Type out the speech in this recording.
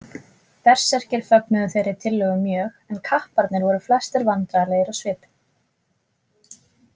Berserkir fögnuðu þeirri tillögu mjög en kapparnir voru flestir vandræðalegir á svipinn.